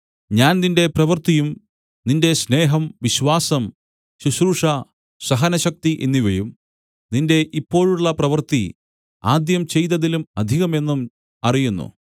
ഞാൻ നിന്റെ പ്രവൃത്തിയും നിന്റെ സ്നേഹം വിശ്വാസം ശുശ്രൂഷ സഹനശക്തി എന്നിവയും നിന്റെ ഇപ്പോഴുള്ള പ്രവൃത്തി ആദ്യം ചെയ്തതിലും അധികമെന്നും അറിയുന്നു